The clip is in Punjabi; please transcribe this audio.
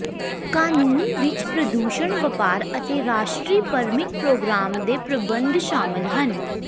ਕਾਨੂੰਨ ਵਿਚ ਪ੍ਰਦੂਸ਼ਣ ਵਪਾਰ ਅਤੇ ਰਾਸ਼ਟਰੀ ਪਰਮਿਟ ਪ੍ਰੋਗ੍ਰਾਮ ਦੇ ਪ੍ਰਬੰਧ ਸ਼ਾਮਲ ਹਨ